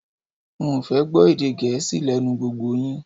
N ò fẹ́ gbọ́ èdè gẹẹsi lé̩nu gbogbo yin